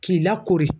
K'i lakori